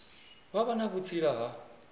vha vha na vhutsila ha